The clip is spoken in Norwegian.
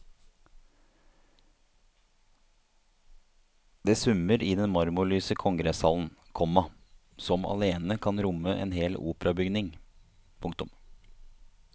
Det summer i den marmorlyse kongresshallen, komma som alene kan romme en hel operabygning. punktum